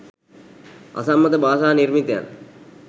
අසම්මත භාෂා නිර්මිතයන්